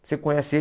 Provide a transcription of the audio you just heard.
Você conhece ele?